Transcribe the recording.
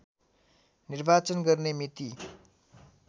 निर्वाचन गर्ने मिति